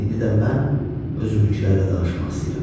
İndi də mən özümünkülərlə danışmaq istəyirəm.